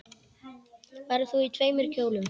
Verður þú í tveimur kjólum?